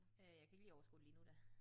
Øh jeg kan ikke lige overskue det lige nu da